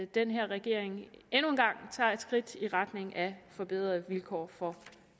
den her regering endnu en gang tager et skridt i retning af at forbedre vilkårene for